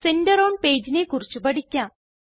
centre on pageനെ കുറിച്ച് പഠിക്കാം